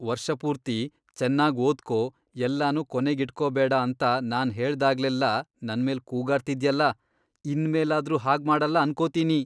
ವರ್ಷಪೂರ್ತಿ ಚೆನ್ನಾಗ್ ಓದ್ಕೋ, ಎಲ್ಲನೂ ಕೊನೇಗೀಟ್ಕೊಬೇಡ ಅಂತ ನಾನ್ ಹೇಳ್ದಾಗ್ಲೆಲ್ಲ ನನ್ಮೇಲ್ ಕೂಗಾಡ್ತಿದ್ಯಲ, ಇನ್ಮೇಲಾದ್ರೂ ಹಾಗ್ಮಾಡಲ್ಲ ಅನ್ಕೋತೀನಿ.